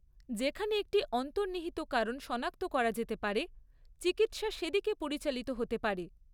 যেখানে একটি অন্তর্নিহিত কারণ শনাক্ত করা যেতে পারে, চিকিৎসা সেদিকে পরিচালিত হতে পারে।